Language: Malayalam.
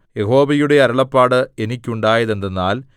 യഹോവയുടെ അരുളപ്പാട് എനിക്കുണ്ടായതെന്തെന്നാൽ